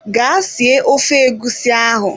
Gaa sie ofe egusi ahụ!